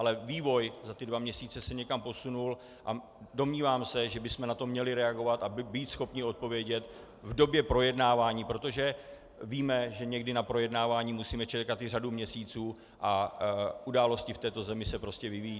Ale vývoj za ty dva měsíce se někam posunul a domnívám se, že bychom na to měli reagovat a být schopni odpovědět v době projednávání, protože víme, že někdy na projednávání musíme čekat i řadu měsíců a události v této zemi se prostě vyvíjejí.